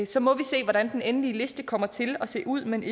så må vi se hvordan den endelige liste kommer til at se ud men